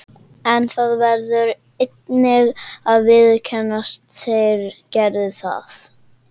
En það verður einnig að viðurkennast: þeir gerðu það.